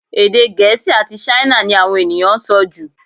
Èdè Gẹ̀ẹ́sì àti Ṣáínà ni àwọn ènìyàn ń sọ jù